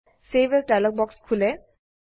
save as dialog বাক্স খোলে